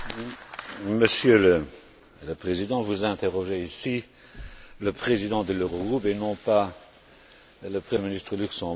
Monsieur le Président, vous interrogez ici le Président de l'Eurogroupe et non pas le Premier ministre luxembourgeois.